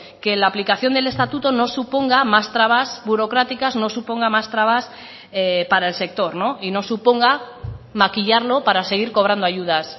que la aplicación del estatuto no suponga más trabas burocráticas no suponga más trabas para el sector y no suponga maquillarlo para seguir cobrando ayudas